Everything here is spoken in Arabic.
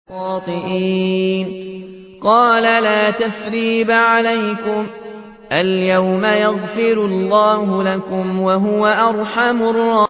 قَالَ لَا تَثْرِيبَ عَلَيْكُمُ الْيَوْمَ ۖ يَغْفِرُ اللَّهُ لَكُمْ ۖ وَهُوَ أَرْحَمُ الرَّاحِمِينَ